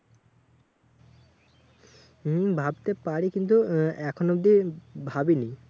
হম ভাবতে পারি কিন্তু আহ এখন অব্দি ভাবিনি।